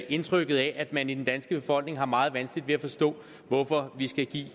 indtrykket af at man i den danske befolkning har meget vanskeligt ved at forstå hvorfor vi skal give